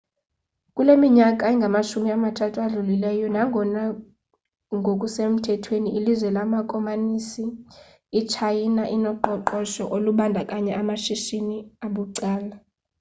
kule minyaka ingamashumi mathathu adlulileyo nangona ngokusemthethweni ililizwe lamakomanisi itshayina inoqoqosho olubandakanya amashishini abucala